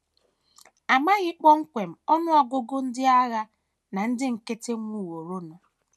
A maghị kpọmkwem ọnụ ọgụgụ ndị agha na ndị nkịtị nwụworonụ.